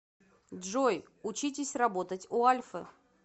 джой учитесь работать у альфы